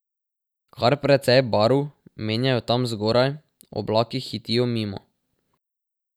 Kar precej barv menjajo tam zgoraj, oblaki hitijo mimo.